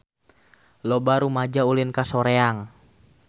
Loba rumaja ulin ka Soreang